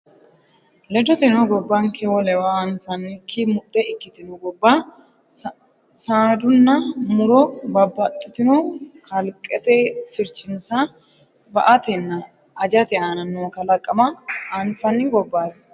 Ledoteno, gobbanke wolewa anfannikki muxxe ikkitino gobba saadanna mu’ro bab- baxxitino kalqete sirchinsa ba”atenna ajate aana noo kalaqama anfanni gobbaati.